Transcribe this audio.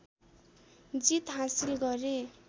जित हाँसिल गरे